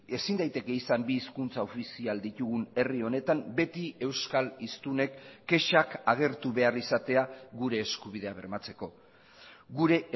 ezin daiteke izan bi hizkuntza ofizial ditugun herri honetan beti euskal hiztunek kexak agertu behar izatea gure eskubidea bermatzeko gure